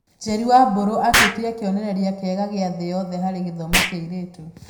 Njeri wa Mburu atuĩkire kĩonereria kĩega gĩa thĩ yothe harĩ gĩthomo kĩa airĩtu.